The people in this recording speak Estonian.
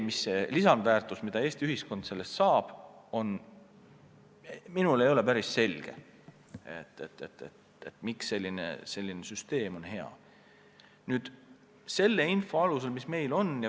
Mis on lisandväärtus, mida Eesti ühiskond sellest saab – mulle ei ole päris selge, miks selline süsteem hea on.